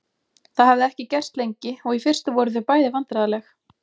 Það hafði ekki gerst lengi og í fyrstu voru þau bæði vandræðaleg.